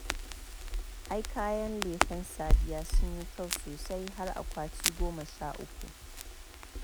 Ai kayan Lefen Sadiya sun yi kyau sosai, har akwati goma sha uku.